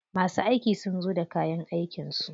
Masu aiki sun zo da kayan aikin su.